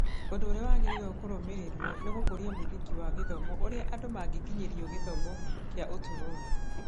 Ũndũ ũrĩa wagĩrĩirũo kũrũmĩrĩrũo nĩ gũkũria mũthingi wa gĩthomo ũrĩa andũ mangĩkinyĩrĩrio gĩthomo kĩa ũtũũro wothe.